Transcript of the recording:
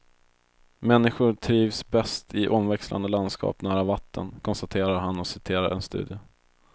Människor trivs bäst i omväxlande landskap nära vatten, konstaterar han och citerar en studie.